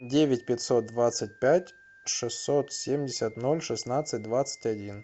девять пятьсот двадцать пять шестьсот семьдесят ноль шестнадцать двадцать один